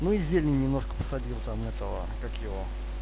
ну и зелени немножко посадил там этого как его